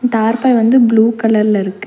அந்த தார்ப்பாய் வந்து ப்ளூ கலர்ல இருக்கு.